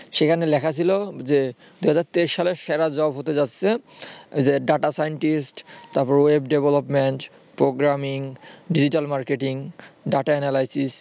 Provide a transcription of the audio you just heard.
সেখানে লেখা ছিল যে দু হাজার তেইশ সালের সেরা job হতে যাচ্ছে যে data scientist তারপর web development, programming, digital marketing, data analysis এগুলো আরকি